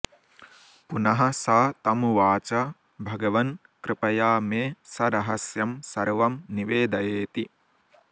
पुनः स तमुवाच भगवन्कृपया मे सरहस्यं सर्वं निवेदयेति